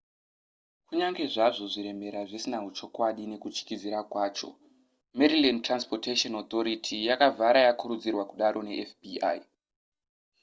kunyange zvazvo zviremera zvisina huchokwadi nekutyisidzira kwacho maryland transportation authority yakavhara yakurudzirwa kudaro nefbi